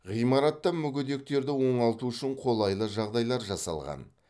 ғимаратта мүгедектерді оңалту үшін қолайлы жағдайлар жасалған